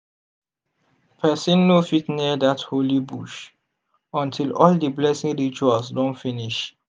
person no fit near dat holy bush until all di blessing rituals don finish.